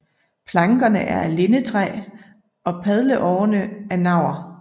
Plankerne er af lindetræ og padleårerne af navr